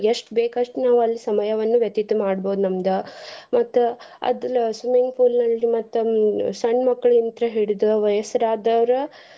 ಎಸ್ಟ್ ಬೇಕಸ್ಟ್ ನಾವ್ ಅಲ್ ಸಮಯವನ್ನು ವ್ಯತೀತ ಮಾಡ್ಬೋದ್ ನಮ್ದ ಮತ್ತ್ ಅದಲ swimming pool ನಲ್ಲಿ ಮತ್ತ ಹ್ಮ್ ಸಣ್ಣ ಮಕ್ಕಲಿಂತ ಹಿಡ್ದ ವಯಸ್ಸಾದ್ರೋರು.